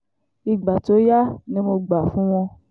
ìgbà tó yá ni mo gbà fún wọn